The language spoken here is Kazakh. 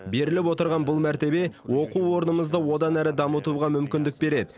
беріліп отырған бұл мәртебе оқу орнымызды одан әрі дамытуға мүмкіндік береді